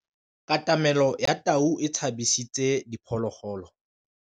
Katamêlô ya tau e tshabisitse diphôlôgôlô.